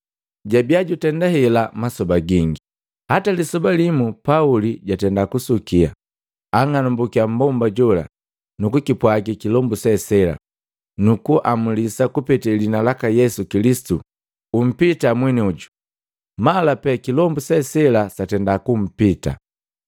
Jabia jutenda hela masoba gingi hata lisoba limu Pauli jatenda kusukia, ang'anambukia mmbomba jola nuku kipwagi kilombu se sela, “Nukuamulisa kupete liina laka Yesu Kilisitu, umpita mwenioju!” Mala pee kilombu se sela satenda kumpita.